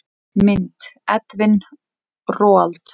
Mynd: Edwin Roald.